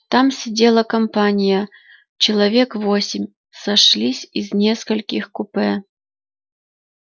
там сидела компания человек восемь сошлись из нескольких купе